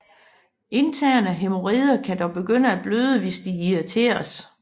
Interne hæmorider kan dog begynde at bløde hvis de irriteres